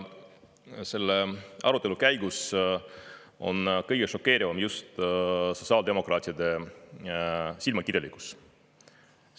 Selle arutelu käigus on kõige šokeerivam just sotsiaaldemokraatide silmakirjalikkus.